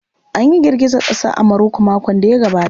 An yi girgizar ƙasa a Maroko makon da ya gabata.